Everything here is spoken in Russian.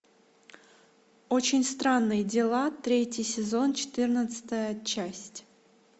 очень странные дела третий сезон четырнадцатая часть